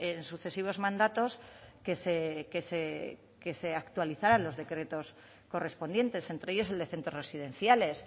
en sucesivos mandatos que se actualizaran los decretos correspondientes entre ellos el de centros residenciales